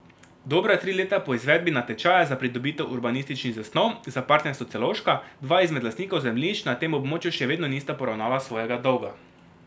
Dobra tri leta po izvedbi natečaja za pridobitev urbanističnih zasnov za Partnerstvo Celovška dva izmed lastnikov zemljišč na tem območju še vedno nista poravnala svojega dolga.